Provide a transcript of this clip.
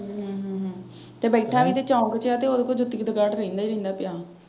ਹਮ ਤੇ ਬੈਠਾ ਵੀ ਤੇ ਚੌਂਕ ਚ ਆ ਤੇ ਉਹਦੇ ਕੋਲ ਜੁੱਤੀ ਦਾ ਗਾਹ ਪਹਿਲਾਂ ਈ ਰਹਿੰਦਾ ਪਿਆ।